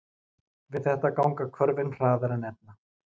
Við þetta ganga hvörfin hraðar en ella.